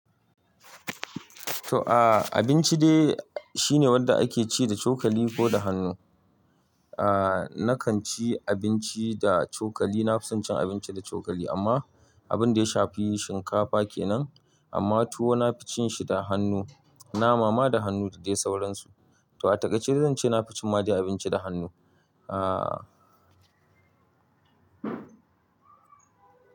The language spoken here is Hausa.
To abinci dai shine wanda ake ci da cokali ko da hannu. Nakan ci abinci da cokali. Na fi son cin abinci da cokali amma abin da ya shafi shinkafa kenan amma tuwo na fi cin shi da hannu. Nama ma da hannu da dai sauransu. To a takaice zan ce na fi cin ma dai abinci da hannu.